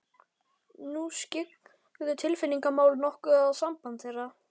Nú skyggðu tilfinningamál nokkuð á samband þeirra.